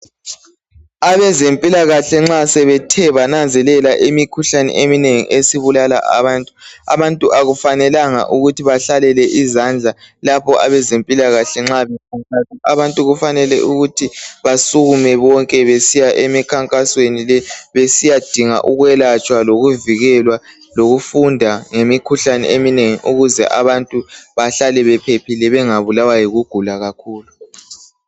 abezempilakahle nxa sebethe bananzelela imikhuhlane eminengi ebulala abantu akufanelanga ukuthi bahlalele izandla lapho abantu bezempilakahle abantu kufanele ukuthi basukume bonke besiya emikhankasweni le besiyadinga ukwelatshwa lokuvikelwa lokufunda ngemikhuhlane eminengi ukuze abantu behlale bephephile bengabulawa yikugula kakhulu